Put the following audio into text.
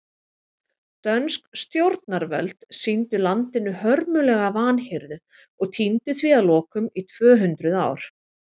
Dönsk stjórnarvöld sýndu landinu hörmulega vanhirðu og týndu því að lokum í tvö hundruð ár.